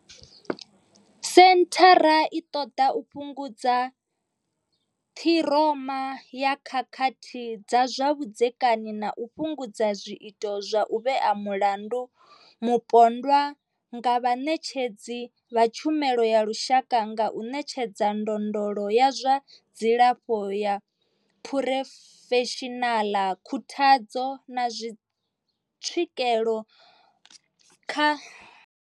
Senthara i ṱoḓa u fhungudza ṱhiroma ya khakhathi dza zwa vhudzekani na u fhungudza zwiito zwa u vhea mulandu mupondwa nga vhaṋetshedzi vha tshumelo ya lushaka nga u ṋetshedza ndondolo ya zwa dzilafho ya phurofeshinaḽa, khuthadzo, na tswikelo kha vhatshutshisi na vhaṱoḓisi vho ḓikumedzaho, zwoṱhe zwi fhethu huthihi.